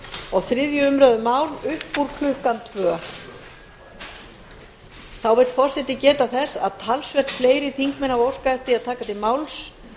og þriðju umræðu mál upp úr klukkan annars þá vill forseti geta þess að talsvert fleiri þingmenn hafa óskað eftir að taka til máls